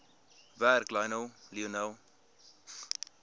werk lionel